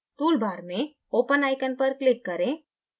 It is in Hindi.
tool bar में open icon पर click करें